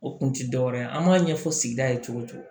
O kun ti dɔwɛrɛ ye an m'a ɲɛfɔ sigida ye cogo o cogo